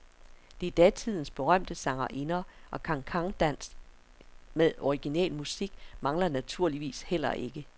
Der er datidens berømte sangerinder, og cancandans med original musik mangler naturligvis heller ikke.